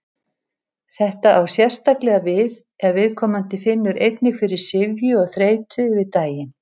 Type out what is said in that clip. Þetta á sérstaklega við ef viðkomandi finnur einnig fyrir syfju og þreytu yfir daginn.